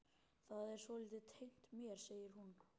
Það er svolítið tengt mér, segir hún.